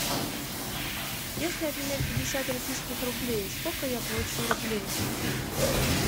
если обменять пятьдесят российских рублей сколько я получу рублей